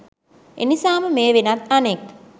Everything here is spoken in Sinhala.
එනිසාම මෙය වෙනත් අනෙක්